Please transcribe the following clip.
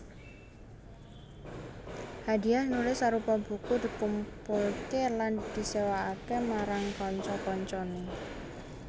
Hadiah nulis arupa buku dikumpulke lan disewakake marang kanca kancane